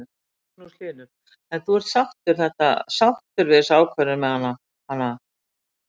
Magnús Hlynur: En þú ert sáttur þetta, sáttur við þessa ákvörðun með hanana?